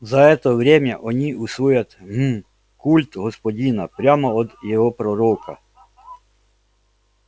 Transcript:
за это время они усвоят гм культ господина прямо от его пророка